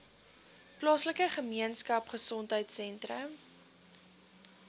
plaaslike gemeenskapgesondheid sentrum